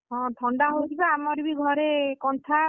ହଁ ଥଣ୍ଡା ହଉଛି ନା ଆମର ବି ଘରେ କନ୍ଥା